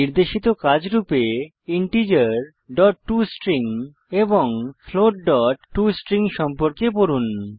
নির্দেশিত কাজ রূপে integerটস্ট্রিং এবং floatটস্ট্রিং সম্পর্কে পড়ুন